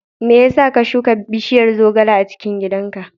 Me yasa ka shuka bishiyar zogale a cikin gidan ka?